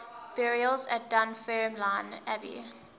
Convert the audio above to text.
burials at dunfermline abbey